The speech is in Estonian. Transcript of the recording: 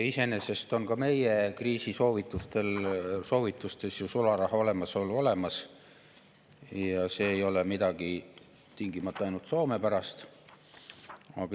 Iseenesest on ka meie kriisisoovitustes sularaha olemasolu olemas, see ei ole tingimata midagi ainult soomepärast.